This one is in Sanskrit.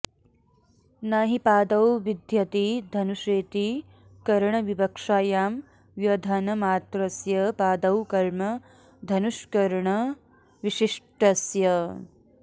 न हि पादौ विध्यति धनुषेति करणविवक्षायां व्यधनमात्रस्य पादौ कर्म धनुष्करणविशिष्टस्य